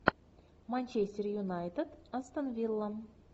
манчестер юнайтед астон вилла